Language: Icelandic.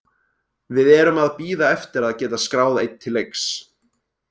Við erum að bíða eftir að geta skráð einn til leiks.